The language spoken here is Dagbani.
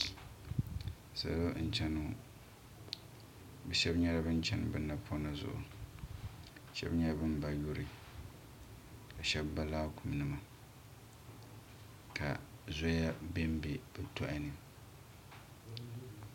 Salo n cheni ŋɔ bɛ sheba nyɛla ban cheni bɛ napona zuɣu ka sheba nyɛ bin ba yuri ka sheba ba laakuma nima ka zoya bembe bɛ tohani.